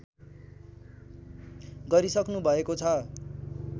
गरिसक्नु भएको छ